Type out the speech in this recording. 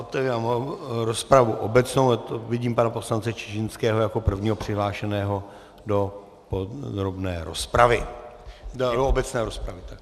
Otevírám rozpravu obecnou, vidím pana poslance Čižinského jako prvního přihlášeného do podrobné rozpravy - do obecné rozpravy.